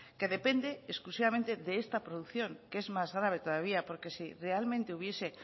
que depende exclusivamente de esta producción que es más grave todavía porque si realmente hubiese